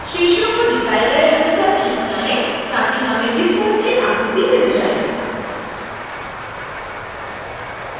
शीर्षों को दिखाए गए अनुसार खिसकाएँ ताकि हमें इस तरह की आकृति मिल जाए